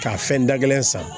K'a fɛn da kelen san